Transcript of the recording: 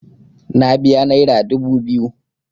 Na biya naira dubu biyu.